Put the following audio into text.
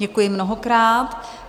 Děkuji mnohokrát.